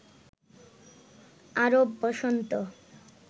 আরব বসন্ত